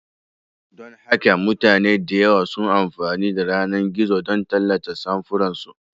Don haka mutane da yawa suna amfani da yanar gizo don tallata samfuran su.